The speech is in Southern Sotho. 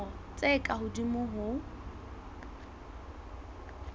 dilemo tse ka hodimo ho